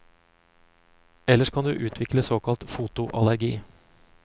Ellers kan du utvikle såkalt fotoallergi.